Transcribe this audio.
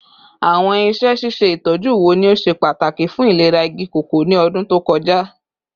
Awọn iṣẹ ṣiṣe itọju wo ni o ṣe pataki fun ilera igi koko ni ọdun to kọja?